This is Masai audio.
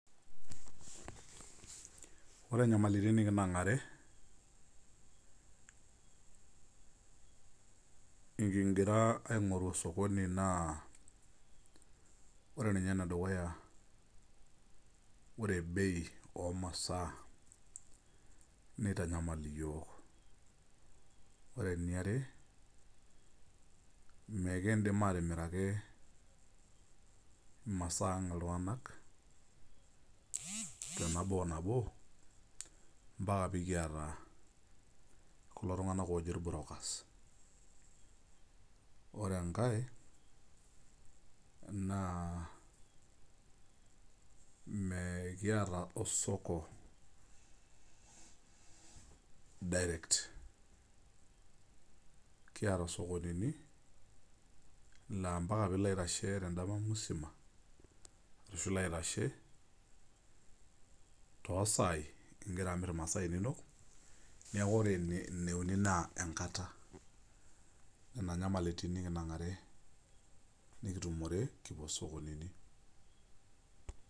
Ore nyamalitin nikinang'are, kigira aing'oru osokoni naa, ore nye enedukuya ore bei omasaa nitanyamal iyiok. Ore eniare, mikidim atimiraki imasaa ang iltung'anak tenabo o nabo, mpaka pikiata kulo tung'anak ojo brokers. Ore enkae, naa mekiata osoko direct. Kiata sokonini la mpaka pilo aitashe tedama musima ashu ilo aitashe tosaai igira amir imasaa inonok, neeku ore eneuni naa enkata. Nena nyamalitin nikinang'are kitumore kipuo sokonini.